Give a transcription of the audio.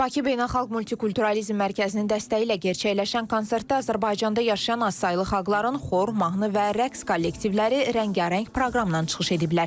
Bakı Beynəlxalq Multikulturalizm Mərkəzinin dəstəyi ilə gerçəkləşən konsertdə Azərbaycanda yaşayan azsaylı xalqların xor, mahnı və rəqs kollektivləri rəngarəng proqramla çıxış ediblər.